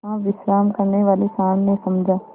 वहाँ विश्राम करने वाले सॉँड़ ने समझा